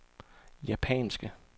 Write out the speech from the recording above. japanske